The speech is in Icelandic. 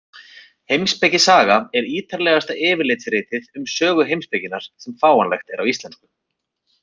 Heimspekisaga er ítarlegasta yfirlitsritið um sögu heimspekinnar sem fáanlegt er á íslensku.